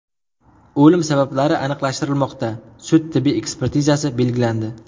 O‘lim sabablari aniqlashtirilmoqda, sud-tibbiy ekspertizasi belgilandi.